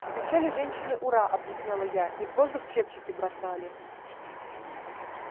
кричали женщины ура объяснила я и в воздух чепчики бросали